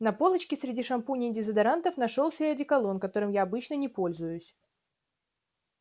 на полочке среди шампуней и дезодорантов нашёлся и одеколон которым я обычно не пользуюсь